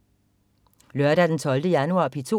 Lørdag den 12. januar - P2: